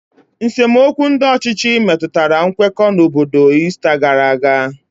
nsemokwu ndị ọchịchị metụtara nkwekọ n'obodo Ista gara aga.